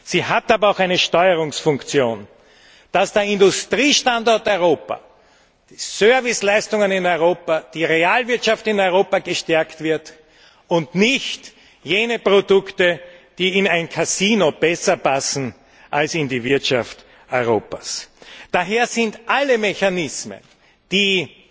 Sie hat aber auch eine Steuerungsfunktion in dem Sinne, dass der Industriestandort Europa, die Serviceleistungen in Europa, die Realwirtschaft in Europa gestärkt werden, und nicht jene Produkte, die in ein Kasino besser passen als in die Wirtschaft Europas. Daher sind alle Mechanismen, die